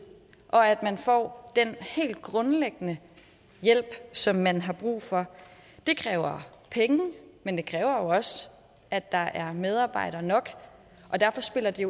og om at man får den helt grundlæggende hjælp som man har brug for det kræver penge men det kræver også at der er medarbejdere nok og derfor spiller det